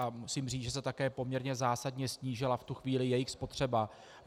A musím říct, že se také poměrně zásadně snížila v tu chvíli jejich spotřeba.